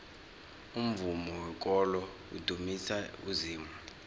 umvumo wekolo udumisa uzimu